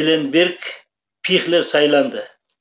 эленберг пихлер сайланды